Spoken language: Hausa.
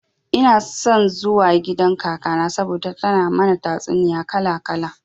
Ina son zuwa gidan kakana saboda tana mana tatsuniya kala kala.